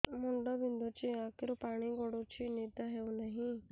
ମୁଣ୍ଡ ବିନ୍ଧୁଛି ଆଖିରୁ ପାଣି ଗଡୁଛି ନିଦ ହେଉନାହିଁ